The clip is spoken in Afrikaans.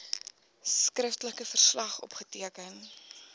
skriftelike verslag opgeteken